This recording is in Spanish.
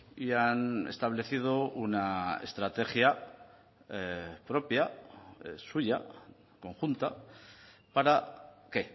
y han establecido una estrategia propia suya conjunta para qué